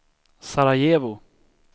Sarajevo